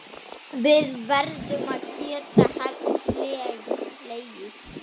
Við verðum að geta hlegið.